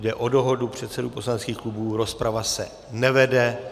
Jde o dohodu předsedů poslaneckých klubů, rozprava se nevede.